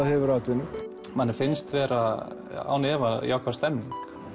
hefur atvinnu manni finnst vera án efa jákvæð stemmning